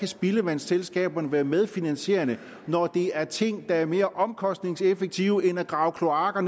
spildevandsselskaberne kan være medfinansierende når det er ting der er mere omkostningseffektive end at grave kloakker